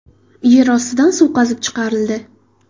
Yer ostidan suv qazib chiqarildi.